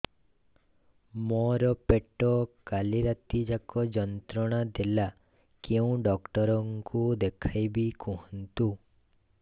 ମୋର ପେଟ କାଲି ରାତି ଯାକ ଯନ୍ତ୍ରଣା ଦେଲା କେଉଁ ଡକ୍ଟର ଙ୍କୁ ଦେଖାଇବି କୁହନ୍ତ